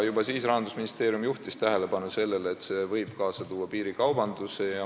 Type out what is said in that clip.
Juba siis juhtis Rahandusministeerium tähelepanu sellele, et see võib kaasa tuua piirikaubanduse.